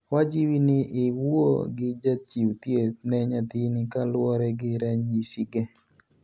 wajiwi ni iwuo gi jachiu thieth ne nyathini kaluore gi ranyisi ge